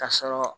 Ka sɔrɔ